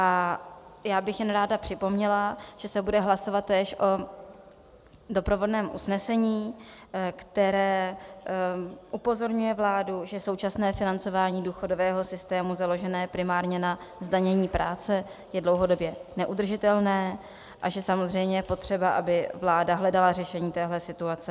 A já bych jen ráda připomněla, že se bude hlasovat též o doprovodném usnesení, které upozorňuje vládu, že současné financování důchodového systému založené primárně na zdanění práce je dlouhodobě neudržitelné a že samozřejmě je potřeba, aby vláda hledala řešení téhle situace.